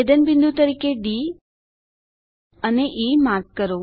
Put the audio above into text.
છેદનબિંદુ તરીકે ડી અને E mark કરો